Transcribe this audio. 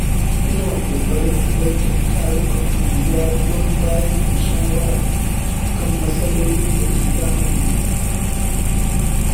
Ina ƙoƙarin halartar tarukan unguwa don bayar da shawara kan matsalolin da ke damunmu.